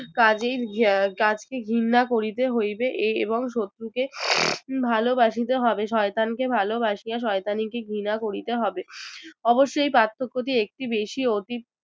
কাজে~ কাজেকেই ঘিন্না করিতে হইবে এবং শত্রুকে ভালোবাসিতে হবে শয়তানকে ভালবাসিয়া শয়তানিকে ঘৃণা করিতে হবে অবশ্য এই পার্থক্যটি একটি বেশি অতীত